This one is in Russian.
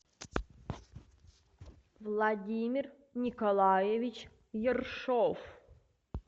владимир николаевич ершов